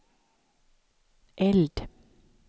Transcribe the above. eld